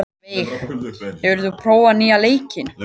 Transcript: Veig, hefur þú prófað nýja leikinn?